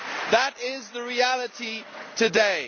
That is the reality today.